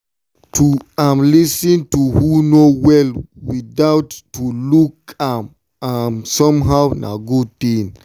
to um lis ten to who no well without to look am um somehow na good thing.